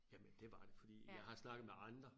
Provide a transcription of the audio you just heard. Jamen det var det fordi jeg har snakket med andre